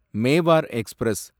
Mewar express